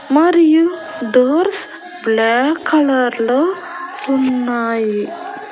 మరియు doors black colour లో ఉన్నాయి.